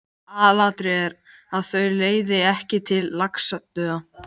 Aðalatriðið er, að þau leiði ekki til laxadauða.